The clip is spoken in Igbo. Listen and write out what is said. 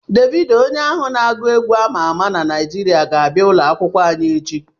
Devido onye ahụ n'agụ egwu ama ama na Naịjirịa ga-abịa ụlọ akwukwo anyi echi